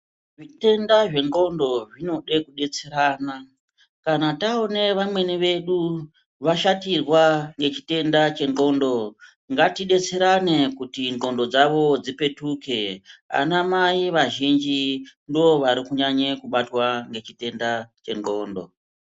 Zvitenda zvendxondo zvinode kudetserana. Kana taona vamweni vedu vashatirwa ngechitenda chendxondo ngatidetserane kuti ndxondo dzavo dzipetuke. Anamai vazhinji ndovari kunyanya kubatwa ngechitenda chendxondo.